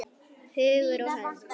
Hugur og hönd!